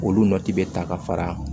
Olu nɔti bɛ ta ka fara a kan